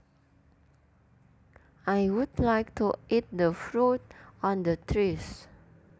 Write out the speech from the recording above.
I would like to eat the fruit on the trees